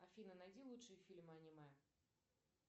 афина найди лучшие фильмы аниме